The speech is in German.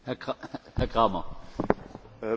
Das ist eine Frage der politischen Bewertung.